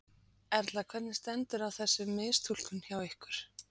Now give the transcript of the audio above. Erla: Hvernig stendur á þessu mistúlkun hjá ykkur?